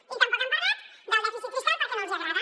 i tampoc han parlat del dèficit fiscal perquè no els agrada